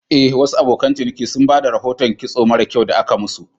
Eh, Wasu abokan ciniki sun ba da rahoton kitson mara kyau da aka musu.